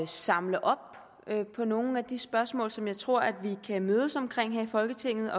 samle op på nogle af de spørgsmål som jeg tror at vi kan mødes omkring her i folketinget